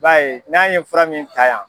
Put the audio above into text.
b'a ye n'an ye fura min ta yan.